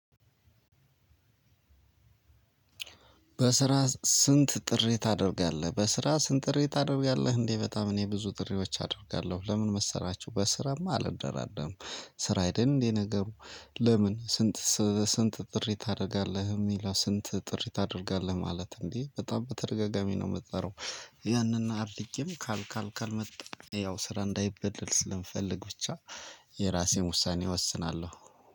በስራ ስንት ጥሪ ታደርጋለህ በስራ ስንት ጥሪ ታደርጋለህ? እንዴ በጣም እኔ ብዙ ጥሪዎች አደርጋለሁ። ለምን መሰላችሁ በስራማ አልደራደርም። ስራ አይደል እንዴ ነገሩ ለምን ስንት ስንት ጥሪ ታደርጋለህ? የሚለው ስንት ጥሪ ታደርጋለህ ማለት እንዴ በጣም በተደጋጋሚ ነው የምጠራው። ያንን አድርጌም ካልመጣ ያው ስራ እንዳይበደል ስለምፈልግ ብቻ የራሴን ውሳኔ እወስናለሁ።